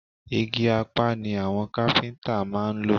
Igi Apá ni àwọn káfíntà máa ń lò.